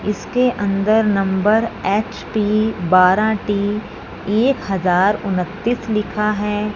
इसके अंदर number H P बारह टी एक हजार उन्हतीस लिख है।